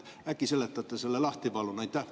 Äkki seletate selle lahti, palun!